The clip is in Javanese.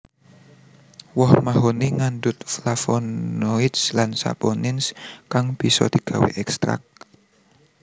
Woh mahoni ngandhut Flavonolds lan Saponins kang bisa digawé ékstrak